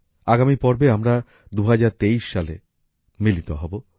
আগামী পর্বে আমরা ২০২৩ সালে মিলিত হব